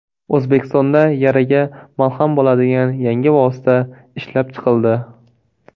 O‘zbekistonda yaraga malham bo‘ladigan yangi vosita ishlab chiqildi.